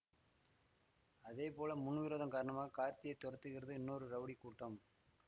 அதே போல முன்விரோதம் காரணமாக கார்த்தியை துரத்துகிறது இன்னொரு ரவுடி கூட்டம்